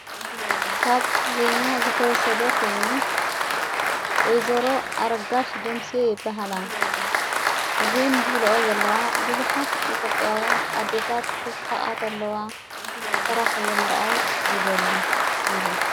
ካብ ዘና ዘተወሰደ ኮይኑ ወይዞሮ ኣረጋሽ ደምሲዮ የበሃላ እዘን ዘብልኦ ዘለዋ ብዙኃት ኢቴጴያውያን ኣዴታት ክስሒቓት ኣለዋ ጥራሕ እየ መረኣይ ዝደሊ ኢለን::